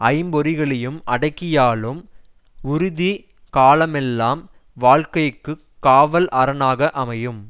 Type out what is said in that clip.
ஐம்பொறிகளையும் அடக்கியாளும் உறுதி காலமெல்லாம் வாழ்க்கைக்கு காவல் அரணாக அமையும்